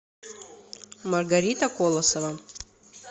маргарита колосова